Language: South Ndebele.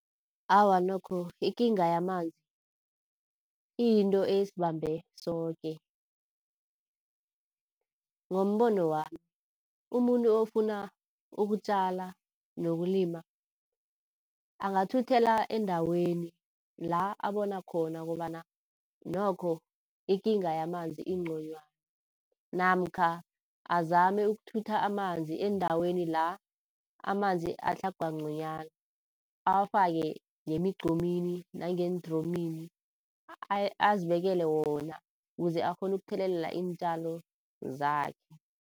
Awa nokho ikinga yamanzi iyinto esibambe soke. Ngombono wami umuntu ofuna ukutjala nokulima, angathuthela endaweni la abona khona kobana nokho ikinga yamanzi inconywana, namkha azame ukuthutha amanzi endaweni la amanzi atlhagwa nconywana. Awafake ngemigqomini nangeendromini, azibekele wona ukuze akghone ukuthelelela iintjalo zakhe.